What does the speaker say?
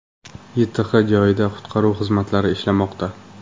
YTH joyida qutqaruv xizmatlari ishlamoqda.